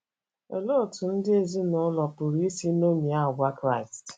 Olee otú ndị isi ezinụlọ pụrụ isi ṅomie àgwà Kraịst?